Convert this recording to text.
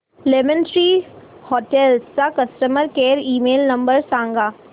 lemon Tree Hotels चा customer care email number सांगा